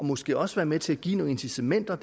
måske også være med til at give nogle incitamenter